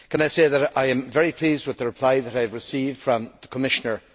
Can I say that I am very pleased with the reply that I have received from the Commissioner?